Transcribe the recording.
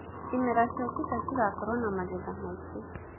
ĩmera cĩũkĩte cĩgakorwo na magetha maĩngĩ